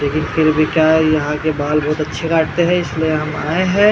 लेकिन फिर भी क्या है यहाँ के बाल बहुत अच्छे काटते हैं इसलिए हम आए हैं ।